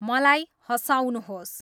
मलाई हँसाउनुहोस्